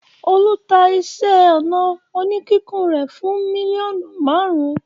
Olú ta iṣẹ́-ọnà oníkíkùn rẹ̀ fún mílíọ̀nù márùn-ún?